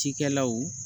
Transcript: Cikɛlaw